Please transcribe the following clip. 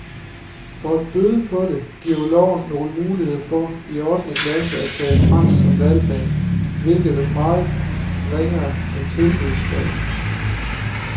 For at bøde på det giver loven nogle muligheder for i ottende klasse at tage fransk som valgfag, hvilket er meget ringere end tilbudsfag.